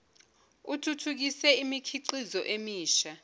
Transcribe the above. uthuthukise imikhiqizo emisha